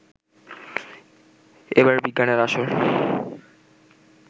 এবারের বিজ্ঞানের আসর